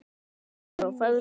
HEFNDIR EFTIR ÞÁ FEÐGA